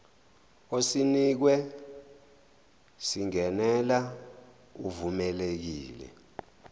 osinikiwe singenela uvumelekile